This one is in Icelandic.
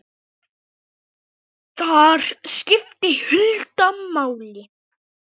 Þar skipti Hulda máli.